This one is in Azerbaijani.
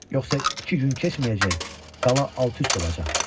Yoxsa iki gün keçməyəcək, qala alt-üst olacaq.